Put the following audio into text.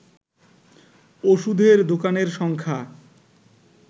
ওষুধের দোকানের সংখ্যা